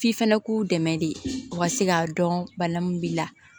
F'i fɛnɛ k'u dɛmɛ de u ka se k'a dɔn bana min b'i la